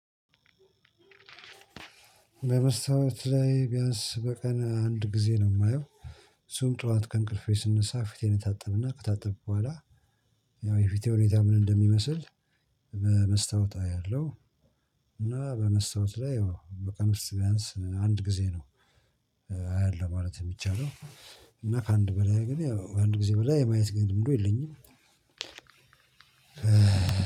መስታወት ላይ ቢያንስ በቀን አንድ ጊዜ ነው የማየው እሱም ጠዋት ከእንቅልፌ ስነሳ ፊቴን እታጠብና ከታጠብኩ በኋላ ያው የፊቴ ሁኔታ ምን እንደሚመስል በመስታወት አያለሁ። እና በመስታወት ላይ ያው በቀን ውስጥ ቢያንስ አንድ ጊዜ ነው። አያለሁ ማለት የሚቻለው እና ከአንድ በላይ ግን አንድ ጊዜ በላይ የማየት ግንልምዱ የለኝም።